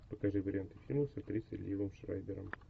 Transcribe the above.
покажи варианты фильмов с актрисой ливом шрайбером